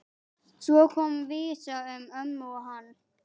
Svo kom vísa um ömmu og hann